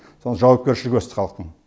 сон жауапкершілігі өсті халықтың